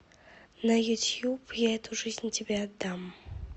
на ютуб я эту жизнь тебе отдам